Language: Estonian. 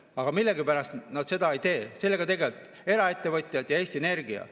Aga millegipärast nad seda ei tee, sellega tegelevad eraettevõtjad ja Eesti Energia.